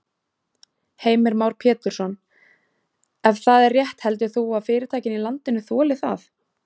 Heimir Már Pétursson: Ef það er rétt heldur þú að fyrirtækin í landinu þoli það?